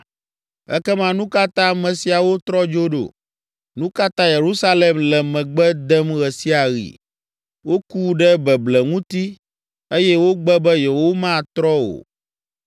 Ekema nu ka ta ame siawo trɔ dzo ɖo? Nu ka ta Yerusalem le megbe dem ɣe sia ɣi? Woku ɖe beble ŋuti eye wogbe be yewomatrɔ o.